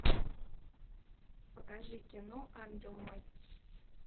покажи кино ангел мой